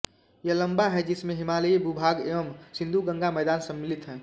यह लम्बा है जिसमें हिमालयी भूभाग एवं सिन्धुगंगा मैदान सम्मिलित हैं